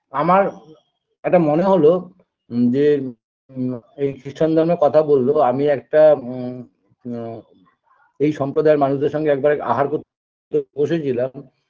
আমার এটা মনে হলো যে আ এই খ্রিষ্ঠান ধর্মের কথা বললো আমি একটা আ আ এই সম্প্রদায়ের মানুষদের সঙ্গে একবার আহার করতে বসেছিলাম